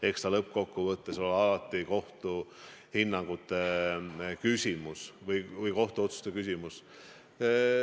Eks ta lõppkokkuvõttes ole alati kohtu hinnangute küsimus või kohtuotsuste küsimus.